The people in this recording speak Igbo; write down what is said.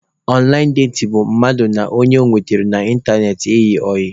Ọnlaịn datin bụ mmadụ na ọnye ọ nwetara n'ịntanetị ịyị ọyị